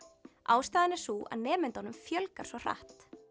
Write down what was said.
ástæðan er sú að nemendum fjölgar svo hratt